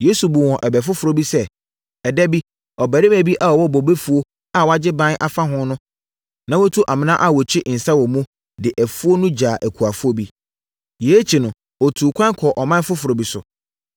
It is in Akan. Yesu buu wɔn bɛ foforɔ bi sɛ, “Ɛda bi, ɔbarima bi a ɔwɔ bobefuo a wagye ban afa ho, na watu amena a wɔkyi nsã wɔ mu, de afuo no gyaa akuafoɔ bi. Yei akyi no, ɔtuu ɛkwan kɔɔ ɔman foforɔ bi so.